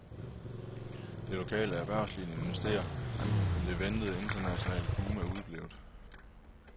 Det lokale erhvervsliv investerer, men det ventede internationale boom er udeblevet.